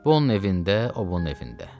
Bu onun evində, o bunun evində.